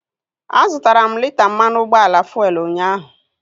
A zụtara m lita mmanụ ụgbọala fuelu unyaahu